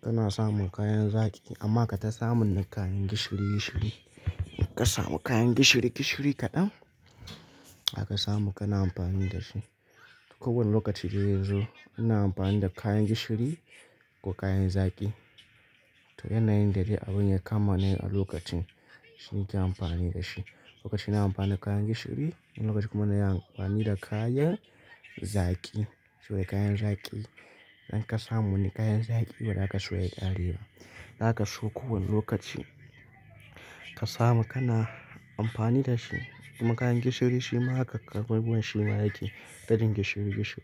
Kana samun kayan zaki amma kata samun na kayan gishiri gishiri. Ka samu kayan gishiri gishiri kaɗan aka samu kana amfani da shi. Ko wani lokaci dai yazo ina amfani da kayan gishiri ko kayan zaki. To yanayin da dai abun ya kama ni a lokacin shine ke amfani da shi. Lokaci na amfani da kayan gishiri lokaci kuma na yi amfani da kayan zaki. Soye kayan zaki. Idan ka samu wani kayan zaki ba za ka so ya ƙare ba. Za ka so kowane lokaci ka samu kana amfani da shi. Kuma kayan gishiri shi ma haka, karɓuwan shi ma yake ta jin gishiri gishiri.